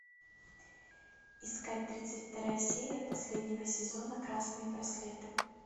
искать тридцать вторая серия последнего сезона красные браслеты